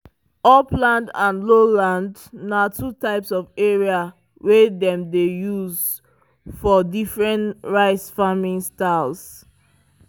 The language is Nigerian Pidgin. upland and lowland na two types of area wey dem dey use for different rice farming styles.